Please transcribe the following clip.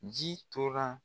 Ji tora